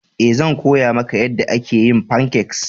Ee, zan koya maka yadda ake yin fancakes.